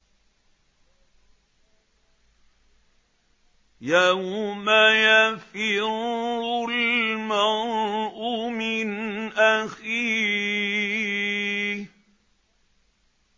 يَوْمَ يَفِرُّ الْمَرْءُ مِنْ أَخِيهِ